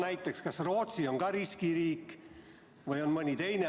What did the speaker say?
Näiteks, kas Rootsi on ka riskiriik või kas mõni teine on?